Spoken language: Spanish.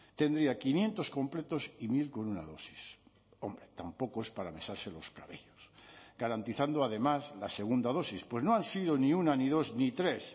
tendría quinientos completos y mil con una dosis hombre tampoco es para mesarse los cabellos garantizando además la segunda dosis pues no han sido ni una ni dos ni tres